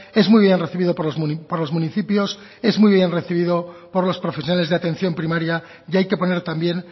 es muy bien recibido por los municipios es muy bien recibido por los profesionales de atención primaria y hay que poner también